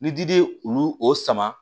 Ni dili ye olu sama